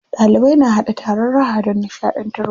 Ɗalibai na haɗa taron raha don nishaɗantarwa.